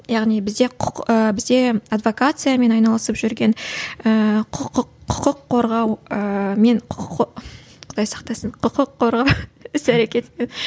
яғни бізде бізде адвокациямен айналысып жүрген ііі құқық құқық қорғау ыы мен құдай сақтасын құқық қорғау іс әрекетімен